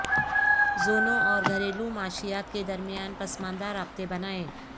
زونوں اور گھریلو معیشت کے درمیان پسماندہ رابطے بنائیں